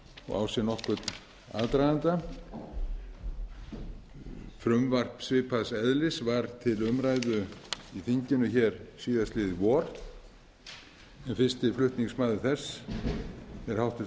og á sér nokkurn aðdraganda frumvarp svipaðs eðlis var til umræðu í þinginu hér síðastliðið vor en fyrsti flutningsmaður þess er